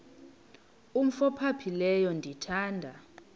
umf ophaphileyo ndithanda